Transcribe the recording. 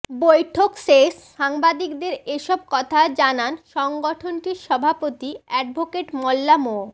বৈঠক শেষ সাংবাদিকদের এসব কথা জানান সংগঠনটির সভাপতি অ্যাডভোকেট মোল্লা মো